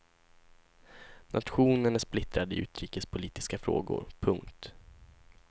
Nationen är splittrad i utrikespolitiska frågor. punkt